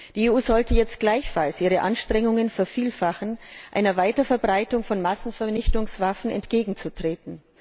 Die EU sollte jetzt gleichfalls ihre Anstrengungen vervielfachen, einer Weiterverbreitung von Massenvernichtungswaffen entgegenzutreten.